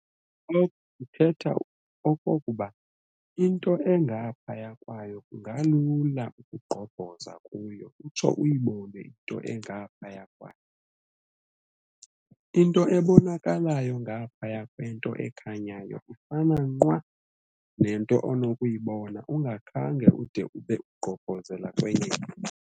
Oko kuthetha okokuba, into engaphaya kwayo kungalula ukugqobhoza kuyo utsho uyibone into engaphaya kwayo. I-nto ebonakalayo ngaphaya kwento ekhanyayo ifana nqwa nento onokuyibona ungakhange ude ube ugqobhozela kwenye into.